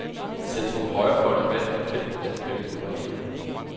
Centrumhøjrefløjen vandt i fem af de femten regioner.